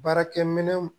Baarakɛ minɛ